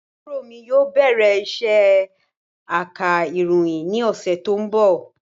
Àbúrò mi yóò bẹ̀rẹ̀ isé aka ìròyìn ni ọ̀sẹ̀ tó ń bọ̀